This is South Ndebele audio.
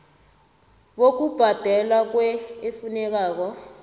bokubhadelwa kwer efunekako